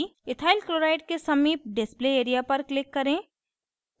ethyl chloride के समीप display area पर click करें